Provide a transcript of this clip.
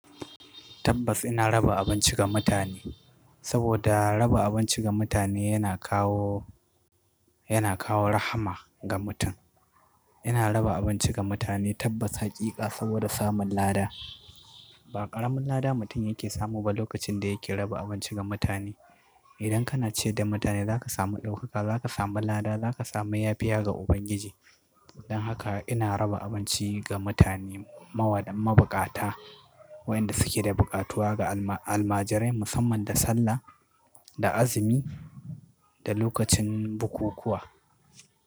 Tabbas ina raba abinci ga mutane, saboda raba abinci ga mutane yana kawo, yana kawo rahma ga mutum. Ina raba abinci ga mutane tabbas haƙiƙa saboda samun lada. Ba ƙaramin lada mutum yake samu ba lokacin da yake raba abinci ga mutane. Idan kana ciyar da mutane za ka samu ɗaukaka, za ka samu lada, za ka samu yafiya ga Ubangiji. Don haka ina raba abinci ga mutane mawaɗa mabuƙata, wayanda suke da buƙatuwa ga alma- almajirai musamman da sallah, da azumi da lokacin bukukuwa.